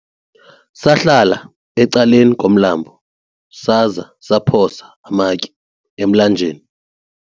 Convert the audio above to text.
sahlala ecaleni komlambo saza saphosa amatye emlanjeni